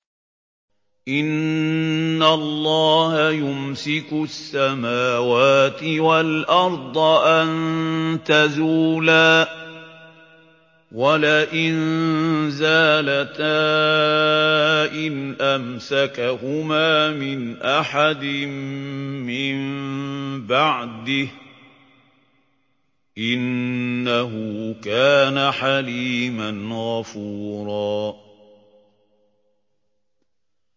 ۞ إِنَّ اللَّهَ يُمْسِكُ السَّمَاوَاتِ وَالْأَرْضَ أَن تَزُولَا ۚ وَلَئِن زَالَتَا إِنْ أَمْسَكَهُمَا مِنْ أَحَدٍ مِّن بَعْدِهِ ۚ إِنَّهُ كَانَ حَلِيمًا غَفُورًا